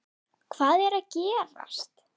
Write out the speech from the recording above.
HVAÐ ER AÐ GERAST??